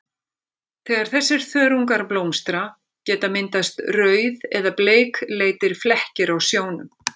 Þegar þessir þörungar blómstra geta myndast rauð- eða bleikleitir flekkir á sjónum.